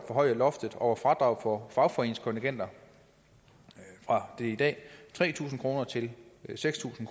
forhøje loftet over fradrag for fagforeningskontingenter fra i dag tre tusind kroner til seks tusind